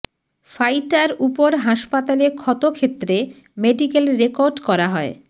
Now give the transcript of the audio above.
fighter উপর হাসপাতালে ক্ষত ক্ষেত্রে মেডিকেল রেকর্ড করা হয়